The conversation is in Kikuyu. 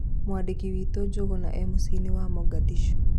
Mwandĩki witũ Njũgũna ĩ mũcĩinĩ wa Mogadishu